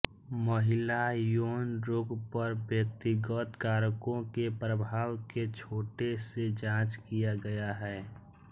महिला यौन रोग पर व्यक्तिगत कारकों के प्रभाव के छोटे से जांच किया गया है